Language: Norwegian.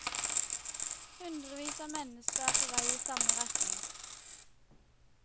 Hundrevis av mennesker er på vei i samme retning.